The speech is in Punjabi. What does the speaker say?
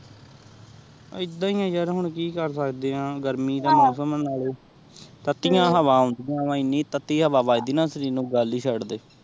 ਆਈਦਾ ਹੀ ਆਹ ਹੁਣ ਕੀ ਕਰ ਸਕਦੇ ਆਹ ਗਰਮੀ ਦਾ ਮੌਸਮ ਆਹ ਤੱਤੀ ਹਵਾ ਆਉਂਦੀ ਆਹ ਐਨੀ ਤੱਤੀ ਹਵਾ ਵਜਦੀ ਦਾ ਸ਼ਰੀਰ ਉ ਗਲ ਹੀ ਚੜ ਦੇ